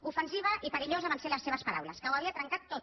ofensiva i perillosa van ser les seves paraules que ho havia trencat tot